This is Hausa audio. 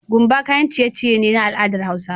Gumba kayan ciy ciye ce ta al'adar hausawa